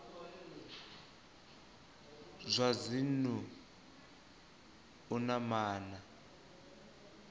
zwa dzinnu u na maana